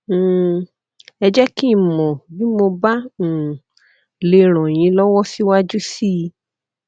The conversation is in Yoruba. um ẹ jé kí n mọ bí mo bá um lè ràn yín lọwọ síwájú sí i